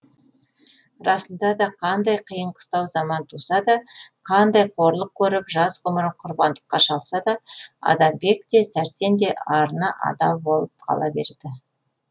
расында да қандай қиын қыстау заман туса да қандай қорлық көріп жас ғұмырын құрбандыққа шалса да адамбек те сәрсен де арына адал болып қала берді